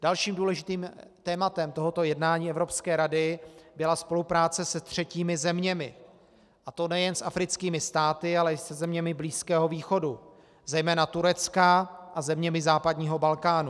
Dalším důležitým tématem tohoto jednání Evropské rady byla spolupráce se třetími zeměmi, a to nejen s africkými státy, ale i se zeměmi Blízkého východu, zejména Tureckem a zeměmi západního Balkánu.